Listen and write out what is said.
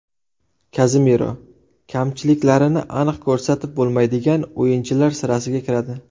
Kazemiro – kamchiliklarini aniq ko‘rsatib bo‘lmaydigan o‘yinchilar sirasiga kiradi.